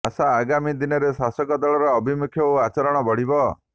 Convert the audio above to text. ଆଶା ଆଗାମୀ ଦିନରେ ଶାସକ ଦଳର ଆଭିମୁଖ୍ୟ ଓ ଆଚରଣ ବଦଳିବ